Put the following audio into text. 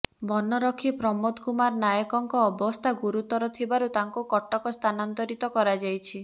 ବନରକ୍ଷୀ ପ୍ରମୋଦ କୁମାର ନାୟକଙ୍କ ଅବସ୍ଥା ଗୁରୁତର ଥିବାରୁ ତାଙ୍କୁ କଟକ ସ୍ଥାନାନ୍ତରିତ କରାଯାଇଛି